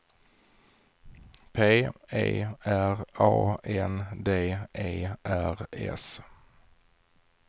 P E R A N D E R S